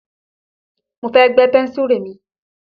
Mo fẹ́ gbẹ́ pẹ́ńsùrù mi.